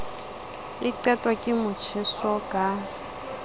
e qetwa ke motjheso ka